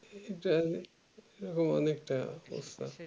তাহলে এরকম অনেক তাই অবস্থা